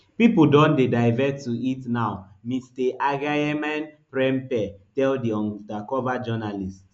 pipo don dey divert to it now mr agyemangprempeh tell di undercover journalist